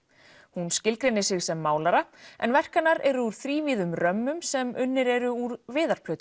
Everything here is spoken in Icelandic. hún skilgreinir sig sem málara en verk hennar eru úr þrívíðum römmum sem unnir eru úr